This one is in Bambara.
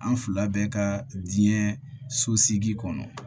An fila bɛ ka diɲɛ so sigi kɔnɔ